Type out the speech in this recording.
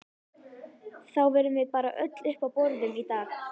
Þá verðum við bara öll uppi á borðum í dag